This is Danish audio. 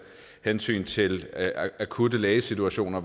hensyn til akutte lægesituationer